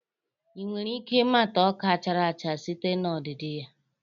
Ị nwere ike ịmata ọka chara acha site na ọdịdị ya